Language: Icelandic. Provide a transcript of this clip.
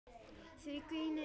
Því er ginið yfir öllu.